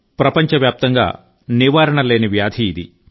ప్రపంచమంతా నివారణ లేని వ్యాధి ఇది